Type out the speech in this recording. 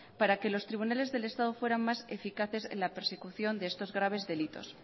para que los tribunales del estado fueran más eficaces en la persecución de estos graves delitos